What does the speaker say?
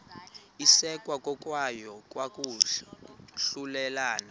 isekwa kokuya kwahlulelana